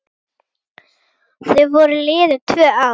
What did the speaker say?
Þá voru liðin tvö ár.